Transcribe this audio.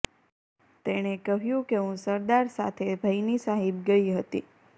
તેણે કહ્યુ કે હુ સરદાર સાથે ભૈની સાહિબ ગઈ હતી